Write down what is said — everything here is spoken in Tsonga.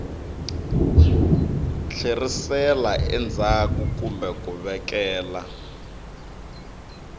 tlherisela endzhaku kumbe ku vekela